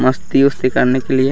मस्ती-वस्ती करने के लिए--